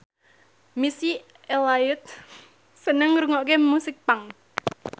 Missy Elliott seneng ngrungokne musik punk